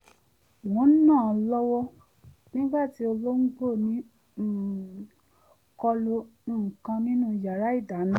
mò ń nà lọ́wọ́ nígbà tí ológbò ní um kọlu nǹkan nínú yàrá ìdáná